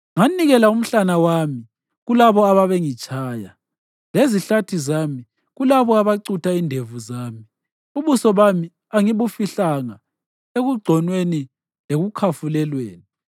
Nganikela umhlana wami kulabo ababengitshaya, lezihlathi zami kulabo abacutha indevu zami; ubuso bami angibufihlanga ekugconweni lekukhafulelweni.